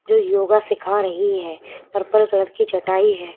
जो योगा सिखा रही है पर्पल कलर की चटाई है।